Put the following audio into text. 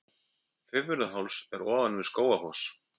Fimmvörðuháls er ofan við Skógafoss.